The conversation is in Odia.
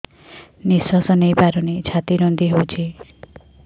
ନିଶ୍ୱାସ ନେଇପାରୁନି ଛାତି ରୁନ୍ଧି ଦଉଛି